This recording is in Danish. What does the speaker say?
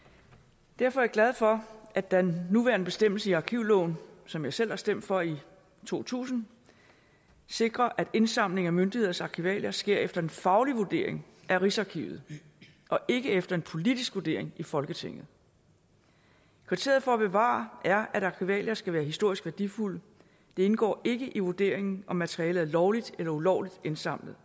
derfor er jeg glad for at den nuværende bestemmelse i arkivloven som jeg selv har stemt for i to tusind sikrer at indsamling af myndigheders arkivalier sker efter en faglig vurdering af rigsarkivet og ikke efter en politisk vurdering i folketinget kriteriet for at bevare er at arkivalier skal være historisk værdifulde det indgår ikke i vurderingen om materialet er lovligt eller ulovligt indsamlet